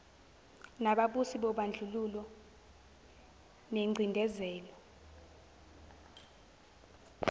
nababusi bobandlululo nengcindezelo